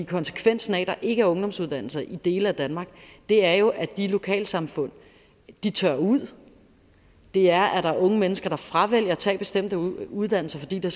konsekvensen af at der ikke er ungdomsuddannelser i dele af danmark er jo at de lokalsamfund tørrer ud det er at der er unge mennesker der fravælger at tage bestemte uddannelser fordi der